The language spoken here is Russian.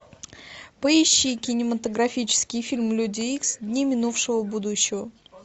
поищи кинематографический фильм люди икс дни минувшего будущего